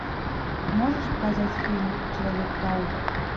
можешь показать фильм человек паук